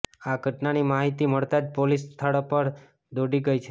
આ ઘટનાની માહિતી મળતાં જ પોલીસ સ્થળ પર દોડી ગઈ છે